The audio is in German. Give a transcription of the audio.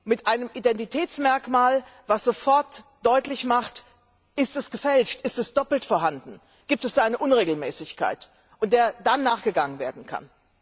Mit einem Identitätsmerkmal, das sofort deutlich macht, ob es gefälscht ist oder doppelt vorhanden ist, ob es eine Unregelmäßigkeit gibt, der dann nachgegangen werden kann.